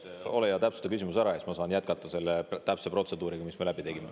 Ole hea, täpsusta küsimust ja siis ma saan jätkata ja täpselt seda protseduuri, mis me läbi tegime.